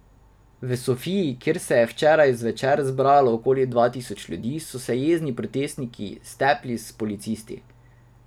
V Sofiji, kjer se je včeraj zvečer zbralo okoli dva tisoč ljudi, so se jezni protestnik stepli s policisti.